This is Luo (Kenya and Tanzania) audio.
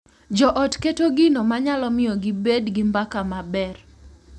Jo ot keto gino ma nyalo miyo gibed gi mbaka maber.